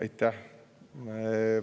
Aitäh!